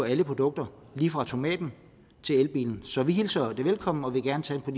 alle produkter lige fra tomaten til elbilen så vi hilser det velkommen og vil gerne tage en